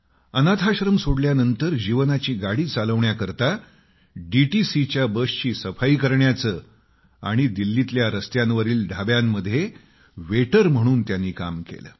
अनाथाश्रम सोडल्यानंतर जीवनाची गाडी चालवण्याकरता डीटीसीच्या बसची सफाई करण्याचे आणि दिल्लीतल्या रस्त्यांवरील ढाब्यांमध्ये वेटर म्हणून काम केले